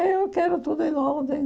Eu quero tudo em ordem.